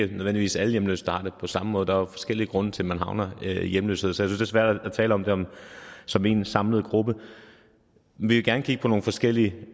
ikke nødvendigvis alle hjemløse der har det på samme måde der er jo forskellige grunde til at man havner i hjemløshed så jeg det svært at tale om dem som én samlet gruppe vi vil gerne kigge på nogle forskellige